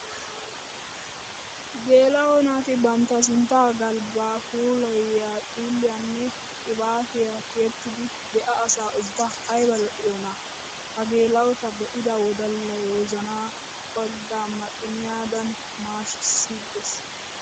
Geela'o naati bantta sintta galbba puulayiya xiilliyanne qibaattiya tiyettiddi be'a asaa ubba aybba lo'iyoonna! Ha geela'otta be'idda wodallay wozana baaga maxxiniyadan maashshigisses!